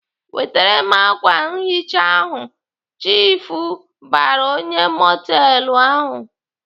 "Wetere m ákwà nhicha ahụ!" Chiifu bara onyeisi mọtelụ ahụ.